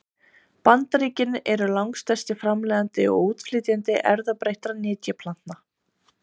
Bandaríkin eru langstærsti framleiðandi og útflytjandi erfðabreyttra nytjaplantna.